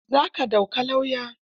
Za ka ɗauki lauya?